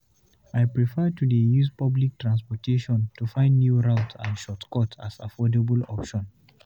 I prefer to dey use public transportation to find new routes and shortcuts as affordable option.